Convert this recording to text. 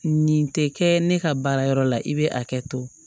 Nin tɛ kɛ ne ka baarayɔrɔ la i bɛ hakɛ to